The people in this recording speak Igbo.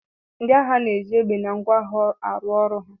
Ndị agha na-eji égbè na ngwọ agha arụ ọrụ ha